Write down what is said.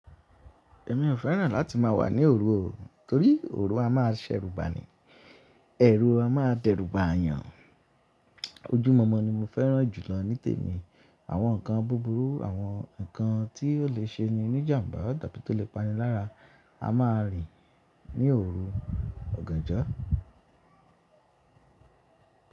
Èmi ò fẹ́ràn láti má wà ní òru o, torí òru a máa ṣẹ́rúba ni, ẹ̀rù a máa dẹ́rùbà yàn. Ojúmọmọ ni mo fẹ́ràn jùlọ nítèmi. Àwọn nǹkan búburú, àwọn nǹkan tí ò le ṣe ni ní ìjàmbá tàbí tó le pani lára, a máa rín ní òru ọ̀gànjọ́.